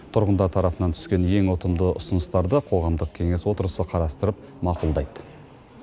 тұрғындар тарапынан түскен ең ұтымды ұсыныстарды қоғамдық кеңес отырысы қарастырып мақұлдайды